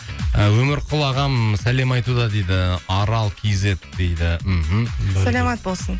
і өмірқұл ағам сәлем айтуда дейді арал кизет дейді мхм саламат болсын